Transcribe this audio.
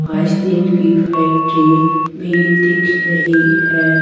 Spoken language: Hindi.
आइसक्रीम की फैक्ट्री भी दिख रही है ।